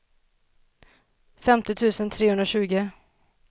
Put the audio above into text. femtio tusen trehundratjugo